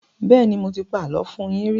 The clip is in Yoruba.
Bẹ́ẹ́nì, mo ti pa àlọ́ fún yín rí.